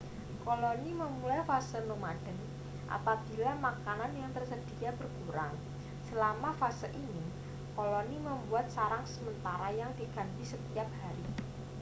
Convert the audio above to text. koloni memulai fase nomaden apabila makanan yang tersedia berkurang selama fase ini koloni membuat sarang sementara yang diganti setiap hari